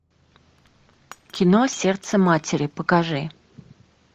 кино сердце матери покажи